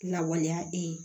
Lawaleya